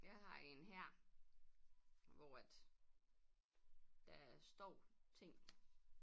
Jeg har en her hvor at der står ting